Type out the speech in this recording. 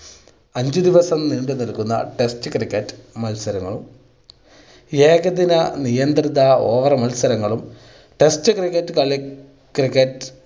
അഞ്ച് ദിവസം നീണ്ട് നിൽക്കുന്ന test cricket മത്സരങ്ങളും ഏകദിന നിയന്ത്രിത over മത്സരങ്ങളും test cricket കളി cricket